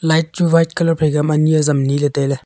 light chu white colour phai ke ma nyi zam nyi ley tailey.